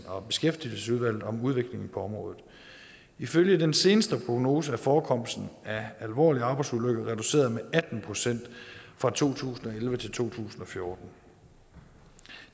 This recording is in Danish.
og beskæftigelsesudvalget om udviklingen på området ifølge den seneste prognose er forekomsten af alvorlige arbejdsulykker reduceret med atten procent fra to tusind og elleve til to tusind og fjorten